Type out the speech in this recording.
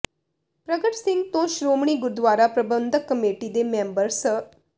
ਪ੍ਰਗਟ ਸਿੰਘ ਤੇ ਸ਼੍ਰੋਮਣੀ ਗੁਰਦੁਆਰਾ ਪ੍ਰਬੰਧਕ ਕਮੇਟੀ ਦੇ ਮੈਂਬਰ ਸ